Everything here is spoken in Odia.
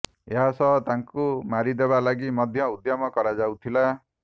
ଏହା ସହ ତାଙ୍କୁ ମାରିଦେବା ଲାଗି ମଧ୍ୟ ଉଦ୍ୟମ କରାଯାଉଥିଲା